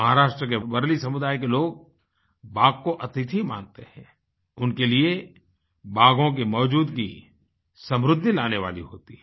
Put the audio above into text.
महाराष्ट्र के वार्ली समुदाय के लोग बाघ को अतिथि मानते हैं उनके लिए बाघों की मौजूदगी समृद्धि लाने वाली होती है